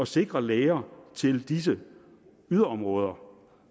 sikre læger til disse yderområder